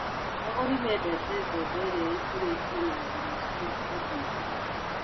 Agũri mendete mbembe irĩa ikũrĩtio na njĩra cia ũndũire.